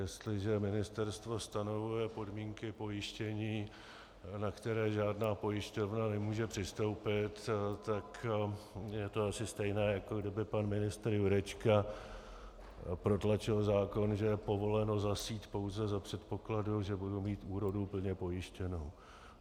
Jestliže ministerstvo stanovuje podmínky pojištění, na které žádná pojišťovna nemůže přistoupit, tak je to asi stejné, jako kdyby pan ministr Jurečka protlačil zákon, že je povoleno zasít pouze za předpokladu, že budu mít úrodu plně pojištěnou.